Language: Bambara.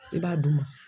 I b'a d'u ma